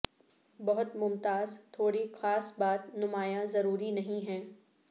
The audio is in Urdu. بہت ممتاز ٹھوڑی خاص بات نمایاں ضروری نہیں ہے